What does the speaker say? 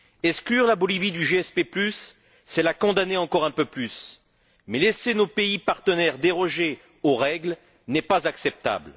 Exclure la Bolivie du SPG, c'est la condamner encore un peu plus. Mais laisser nos pays partenaires déroger aux règles n'est pas acceptable.